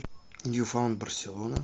ньюфаунд барселона